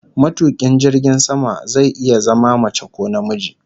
Matukin jirgin sama zai iya zama mace ko namiji